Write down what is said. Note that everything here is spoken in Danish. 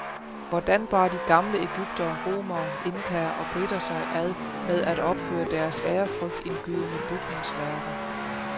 Hvordan bar de gamle egyptere, romere, inkaer og briter sig ad med at opføre deres ærefrygtindgydende bygningsværker?